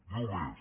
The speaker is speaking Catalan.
diu més